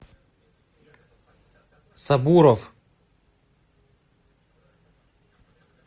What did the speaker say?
сабуров